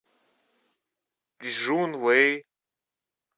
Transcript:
чжунвэй